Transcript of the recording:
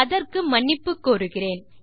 அதற்கு மன்னிப்பு கோருகிறேன்